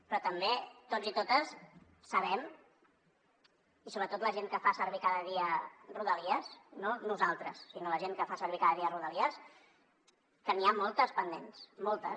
però també tots i totes sabem i sobretot la gent que fa servir cada dia rodalies no nosaltres sinó la gent que fa servir cada dia rodalies que n’hi ha moltes pendents moltes